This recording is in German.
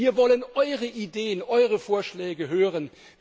Wir wollen eure Ideen, eure Vorschläge hören!